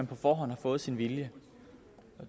på forhånd har fået sin vilje